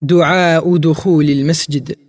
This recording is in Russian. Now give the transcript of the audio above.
уджуху